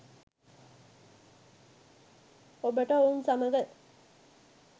ඔබට ඔවුන් සමග